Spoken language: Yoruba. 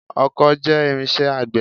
ọkó jẹ́ irinṣẹ́ àgbẹ̀